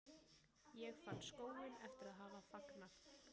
Ég fann skóinn eftir að hafa fagnað.